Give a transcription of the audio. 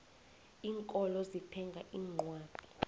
iinkolo zithenga iincwadi